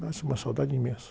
Nasce uma saudade imensa.